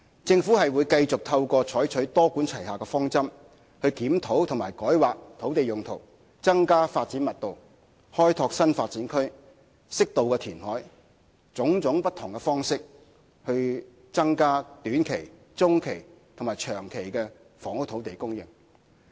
政府會繼續採用"多管齊下"的方針，透過檢討及改劃土地用途、增加發展密度、開拓新發展區、適度填海等不同方式，以增加短、中及長期房屋土地供應。